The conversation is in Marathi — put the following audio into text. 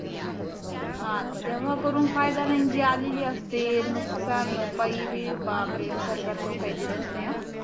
हा तेव्हा करून फायदा नाही जी आलेली असते मग नुकसान भरपाई बी बापरे सरकार पण काही देतच नाही